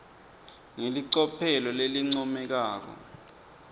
ngelicophelo lelincomekako